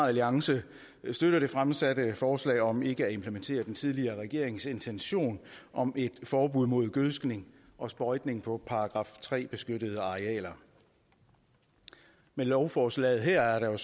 alliance støtter det fremsatte forslag om ikke at implementere den tidligere regerings intention om et forbud mod gødskning og sprøjtning på § tre beskyttede arealer med lovforslaget her er der jo